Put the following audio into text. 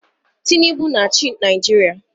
Tinubu na-achị Naijiria.